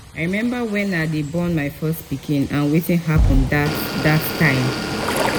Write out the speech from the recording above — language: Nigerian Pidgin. i remember wen i dey born my first pikin and wetin happen dat dat time